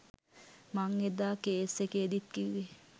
මං එදා කේස් එකේදීත් කිව්වේ